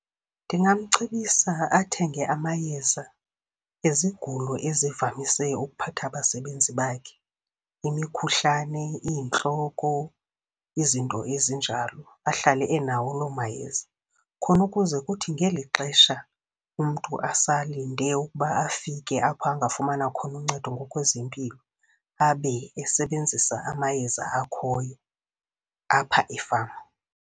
Ndingamcebisa athenge amayeza ezigulo ezivamise ukuphatha abasebenzi bakhe, imikhuhlane, iintloko, izinto ezinjalo ahlale enawo loo mayeza. Khona ukuze kuthi ngeli xesha umntu asalinde ukuba afike apho angafumana khona uncedo ngokwezempilo, abe esebenzisa amayeza akhoyo apha efama.